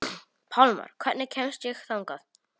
Pálmar, hvernig kemst ég þangað?